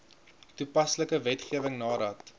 toepaslike wetgewing nadat